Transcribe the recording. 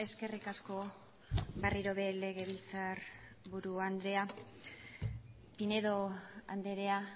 eskerrik asko berriro ere legebiltzarburu andrea pinedo andrea